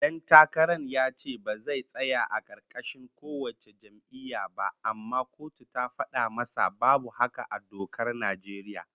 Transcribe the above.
Dan takaran ya ce ba zai tsaya a karkashin kowace jam'iyya ba, amma kotu ta fada masa babu haka a dokar Najeriya